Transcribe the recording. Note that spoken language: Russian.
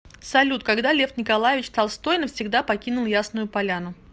салют когда лев николаевич толстой навсегда покинул ясную поляну